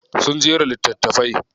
Sun jera littatafai.